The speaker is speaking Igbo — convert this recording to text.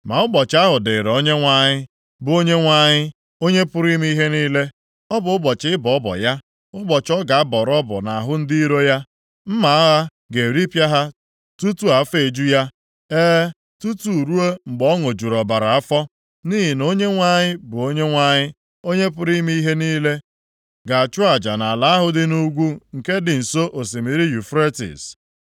Ma ụbọchị ahụ dịrị Onyenwe anyị, bụ Onyenwe anyị, Onye pụrụ ime ihe niile. Ọ bụ ụbọchị ịbọ ọbọ ya, ụbọchị ọ ga-abọrọ ọbọ nʼahụ ndị iro ya. Mma agha ga-eripịa ha tutu afọ eju ya, e, tutu ruo mgbe ọ ṅụjuru ọbara afọ. Nʼihi na Onyenwe anyị bụ Onyenwe anyị, Onye pụrụ ime ihe niile ga-achụ aja nʼala ahụ dị nʼugwu, nke dị nso osimiri Yufretis.